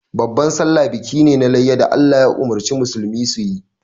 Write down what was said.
Babban sallah biki ne na layya da Allah ya umurci musulmai su yi.